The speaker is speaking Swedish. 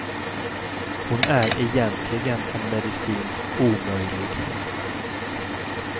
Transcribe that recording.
Hon är egentligen en medicinsk omöjlighet.